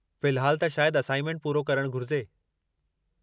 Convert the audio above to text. फ़िलहालु, त शायदि असाइनमेंट पूरो करणु घुरिजे।